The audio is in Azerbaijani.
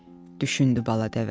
düşündü bala dəvə.